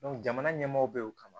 jamana ɲɛmaaw bɛ yen o kama